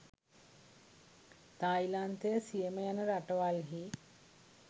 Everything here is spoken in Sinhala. තායිලන්තය සියම යන රටවල්හි